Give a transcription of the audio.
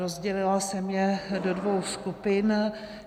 Rozdělila jsem je do dvou skupin.